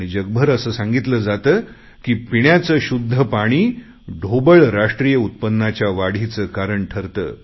आणि जगभर असे सांगितले जाते की पिण्याचे शुद्ध पाणी ढोबळ राष्ट्रीय उत्पन्नाच्या वाढीचे कारण ठरते